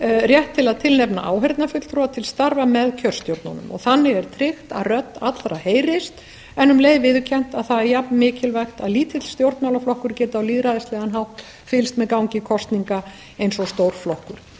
rétt til að tilnefna áheyrnarfulltrúa til starfa með kjörstjórnunum þannig er tryggt að rödd allra heyrist en um leið viðurkennt að það er jafnmikilvægt að lítill stjórnmálaflokkur geti á lýðræðislegan hátt fylgst með gangi kosninga eins og stór flokkur